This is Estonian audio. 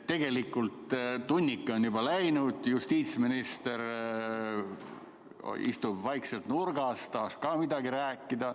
Tegelikult tunnike on juba läinud, justiitsminister istub vaikselt nurgas, tahaks ka midagi rääkida.